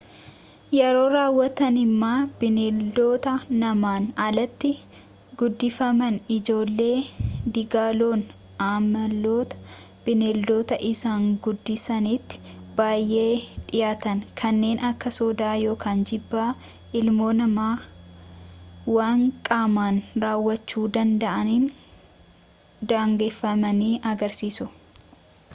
yeroo raawwataniima bineeldota namaan alaatiin guddifaman ijoollee diiggaloon amaloota bineeldota isaan guddisaniitti baay’ee dhiyaatan kanneen akka sodaa yookaan jibba ilmoo namaa waan qaamaan raawwachuu danda’aniin daangeffamanii agarsiisu